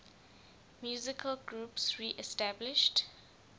musical groups reestablished